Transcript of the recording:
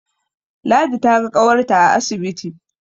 Ladi ta ga ƙawarta a asibiti